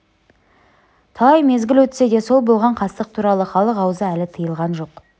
талай мезгіл өтсе де сол болған қастық туралы халық аузы әлі тыйылған жоқ